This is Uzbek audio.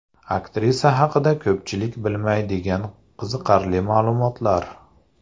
Aktrisa haqida ko‘pchilik bilmaydigan qiziqarli ma’lumotlar .